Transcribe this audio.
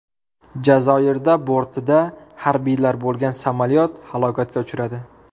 Jazoirda bortida harbiylar bo‘lgan samolyot halokatga uchradi.